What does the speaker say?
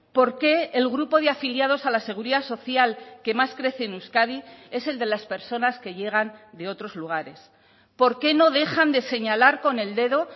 por qué el grupo de afiliados a la seguridad social que más crece en euskadi es el de las personas que llegan de otros lugares por qué no dejan de señalar con el dedo